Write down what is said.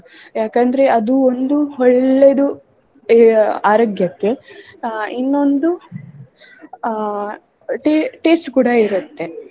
ಯಾಕಂದ್ರೆ ಅದು ಒಂದು ಒಳ್ಳೆದು ಅಹ್ ಆರೋಗ್ಯಕ್ಕೆ ಅಹ್ ಇನ್ನೊಂದು ಅಹ್ ta~ taste ಕೂಡ ಇರತ್ತೆ.